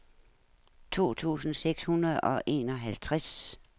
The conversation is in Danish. to tusind seks hundrede og enoghalvtreds